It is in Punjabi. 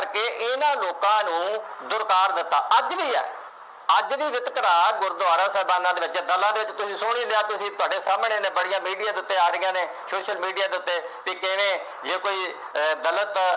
ਕੇ ਇਹਨਾ ਲੋਕਾਂ ਨੂੰ ਦੁਰਕਾਰ ਦਿੱਤਾ, ਅੱਜ ਵੀ ਹੈ, ਅੱਜ ਵੀ ਵਿਤਕਰਾ ਗੁਰਦੁਆਰਾ ਸਾਹਿਬਾਨਾਂ ਦੇ ਵਿੱਚ ਸੁਣ ਹੀ ਲਿਆ ਤੁਸੀਂ, ਤੁਹਾਡੇ ਸਾਹਮਣੇ ਨੇ, ਬੜੀਆਂ ਮੀਡੀਆ ਦੇ ਉੱਤੇ ਆ ਰਹੀਆਂ ਨੇ, ਸ਼ੋਸ਼ਲ ਮੀਡੀਆ ਦੇ ਉੱਤੇ, ਬਈ ਕਿਵੇਂ ਜੇ ਕੋਈ ਅਹ ਗਲਤ